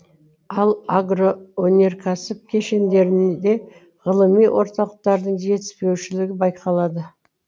ал агро өнеркәсіп кешендерінде ғылыми орталықтардың жетіспеушілігі байқалады